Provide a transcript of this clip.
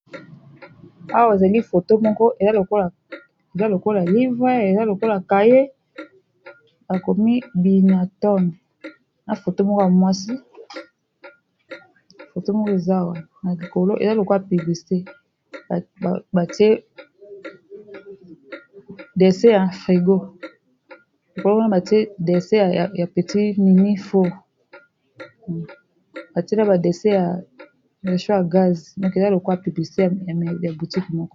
Awa ezali otomoko eza lokola livre eza lokola kaye bakomi binaton na moto moko dse ya frigo likolo mana batie ds ya petit mini batiela badese ya cho ya gaz o eza lokwa pibicya butique mko.